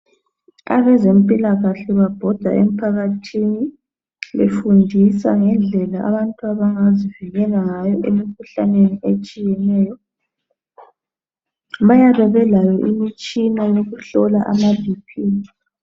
Abezempilakahle babhoda emphakathini, befundisa ngendlela abantu abangazivikela ngayo emikhuhlaneni etshiyeneyo. Bayabe benayo njalo imitshini yokuhlola imikhuhlane enjengabo Bp.